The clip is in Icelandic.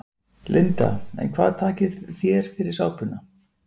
Linda: En hvað takið þér fyrir sápuna?